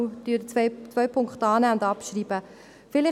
den zweiten Punkt nehmen wir an und schreiben ihn ab.